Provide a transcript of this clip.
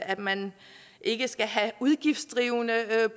at man ikke skal have udgiftsdrivende